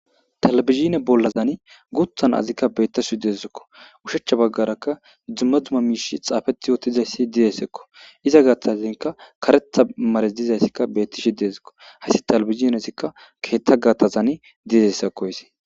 talabizhine bollazani guthan azikka bettasuu deezzekko ushechcha baggarakka dzumma dzuma miishi xaafeti yootizayssi diyesekko iza gaattazanka karetha mares dizayssikka bettishe deezekko haysi talabizinezikka keetta gattazani didessekkoyse